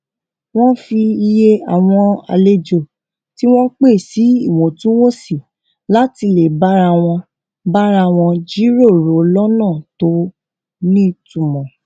wón fi iye àwọn àlejò tí wón pè sí ìwọtúnwọnsì láti lè bára wọn bára wọn jíròrò lónà tó nítumò